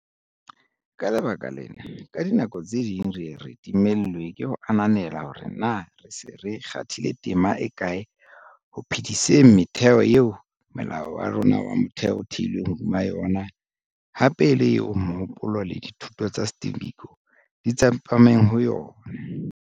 Ka lebaka lena, ka dinako tse ding re ye re timellwe ke ho ananela hore na re se re kgathile tema e kae ho phe-diseng metheo eo Molao wa rona wa Motheo o theilweng hodima yona hape e le eo mohopolo le dithuto tsa Steve Biko di tsepameng ho yona.